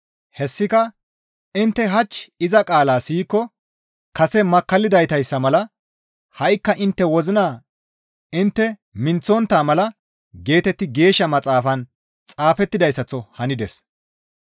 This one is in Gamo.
Hessika, «Intte hach iza qaalaa siyikko kase makkallidaytayssa mala ha7ikka intte wozina intte minththontta mala» geetetti Geeshsha Maxaafan xaafettidayssaththo hanides.